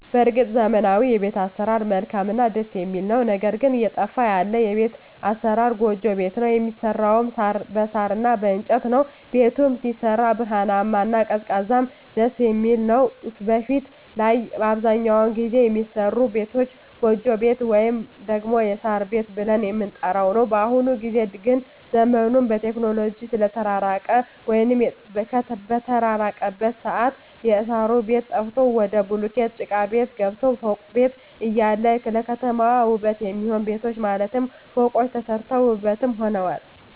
በርግጥ ዘመናዊዉ የቤት አሰራር መልካምእና ደስ የሚል ነዉ ነገር ግን እየጠፋ ያለ የቤት አሰራር ጎጆ ቤት ነዉ የሚሰራዉም በሳር እና በእንጨት ነዉ ቤቱም ሲሰራ ብርሃናማ እና ቀዝቃዛም ደስየሚል ነዉ በፊት ላይ አብዛኛዉን ጊዜ የሚሰሩ ቤቶች ጎጆ ቤት ወይም ደግሞ የሳር ቤት ብለን የምንጠራዉ ነዉ በአሁኑ ጊዜ ግን ዘመኑም በቴክኖሎጂ ስለተራቀቀ ወይም በተራቀቀበት ሰአት የእሳሩ ቤት ጠፍቶ ወደ ቡሉኬት ጭቃቤት ገባን ፎቅ ቤት እያለ ለከተማዋ ዉበት የሚሆኑ ቤቶች ማለትም ፎቆች ተሰርተዋል ዉበትም ሆነዋል